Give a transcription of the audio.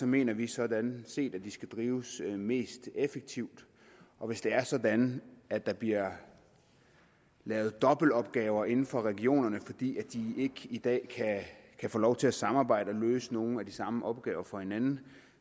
mener vi sådan set at de skal drives mest effektivt og hvis det er sådan at der bliver lavet dobbeltopgaver inden for regionerne fordi de ikke i dag kan få lov til at samarbejde og løse nogle af de samme opgaver for hinanden